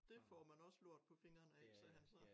Dét får man også lort på fingrene af sagde han så